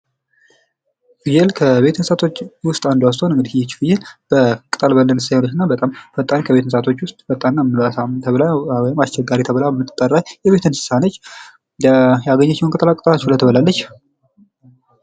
ፍየል ከቤት እንስሳት ውስጥ አንዷ ስቶን እንግዳ ፍየል በመሳሪትና ፈጣን ከቤተሰቦች ውስጥ ፈጣንና ምላሳም ተብላ ወይም አስቸጋሪ ተብላ ምትጠራ ነች ያገኘችውን ቅጠላቅጠል ሁላ ትበላለች።